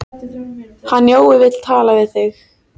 Hann Jói vill tala við þig.